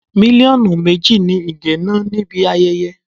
Mílíọ̀nù méjì ni Ige ná níbi ayẹyẹ.